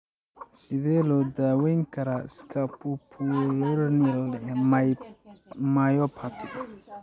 Sidee loo daweyn karaa scapupoperoneal myopathy?